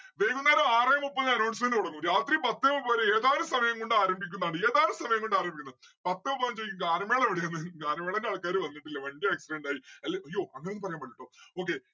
വൈകുന്നേരം ആറെ മുപ്പതിന് announcement കൊടുക്കും രാത്രി പത്തേ മുപ്പതിന് ഏതാനും സമയം കൊണ്ട് ആരംഭിക്കുന്നതാണ്. ഏതാനും സമയം കൊണ്ട് ആരംഭിക്കുന്നു. പത്തേ പതിനഞ്ച് ഗാനമേള ഗാനമേളന്റെ ആൾക്കാര് വന്നിട്ടില്ല. വണ്ടി accident ആയി അല്ല അയ്യോ അങ്ങനെ ഒന്നും പറയാൻ പാടില്ലാട്ടോ okay